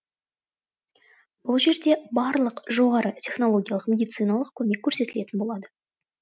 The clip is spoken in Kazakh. бұл жерде барлық жоғары технологиялық медициналық көмек көрсетілетін болады